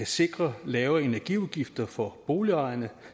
sikrer lave energiudgifter for boligejerne